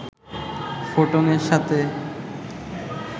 ফোটনের সাথে